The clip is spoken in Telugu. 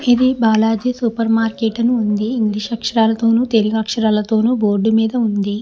ఇది బాలాజీ సూపర్ మార్కెట్ అని ఉంది ఇంగ్లీష్ అక్షరాలతోనూ తెలుగు అక్షరాలతోనూ బోర్డు మీద ఉంది.